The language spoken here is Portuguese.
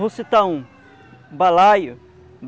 Vou citar um, Balaio.